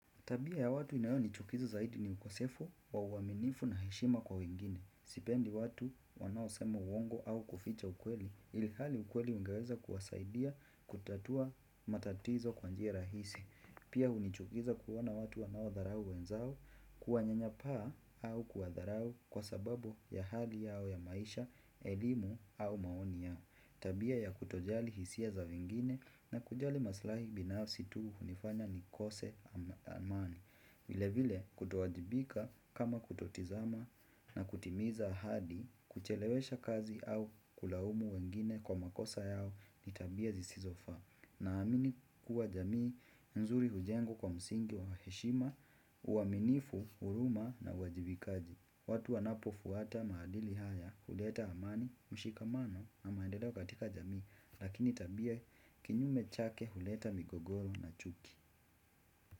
Tabia ya watu inayonichukiza zaidi ni ukosefu, wa uaminifu na heshima kwa wengine. Sipendi watu wanaosema uongo au kuficha ukweli. Ilhali ukweli ungeweza kuwasaidia kutatua matatizo kwa njia rahisi. Pia hunichukiza kuona watu wanaodharau wenzao kuwanyanyapaa au kuwadharau kwa sababu ya hali yao ya maisha, elimu au maoni yao. Tabia ya kutojali hisia za wengine na kujali maslahi binafsi tu hunifanya nikose amani vile vile kutowajibika kama kutotizama na kutimiza ahadi kuchelewesha kazi au kulaumu wengine kwa makosa yao ni tabia zisizofaa. Naamini kuwa jamii nzuri hujengwa kwa msingi wa heshima uaminifu huruma na uwajibikaji. Watu wanapofuata maadili haya huleta amani, mshikamano na maendeleo katika jamii. Lakini tabia kinyume chake huleta migogoro na chuki.